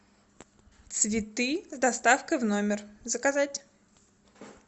цветы с доставкой в номер заказать